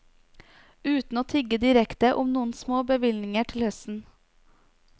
Uten å tigge direkte om noen små bevilgninger til høsten.